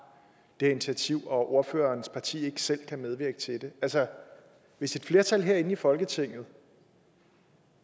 det initiativ og at ordførerens parti ikke selv kan medvirke til det altså hvis et flertal herinde i folketinget